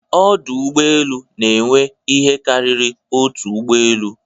Ọdụ Ụgbọ elu n'enwe ihe karịrị otu ụgbọ elu.